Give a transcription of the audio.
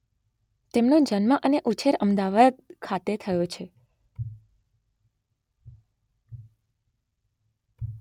તેમનો જન્મ અને ઉછેર અમદાવાદ ખાતે થયો છે